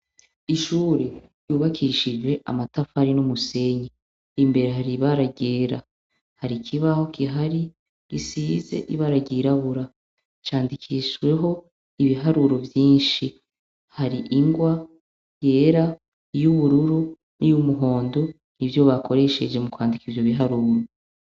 Ishure ry'ubakishije amatafari n'umusenyi , imbere hari ibara ryera, har'ikibaho kihari risize ibara ryirabura, candikishweho ibiharuro byinshi, hari ingwa yera y'ubururu n'iy'umuhondo nibyo bakoresheje mu kwandika ivyo biharuru.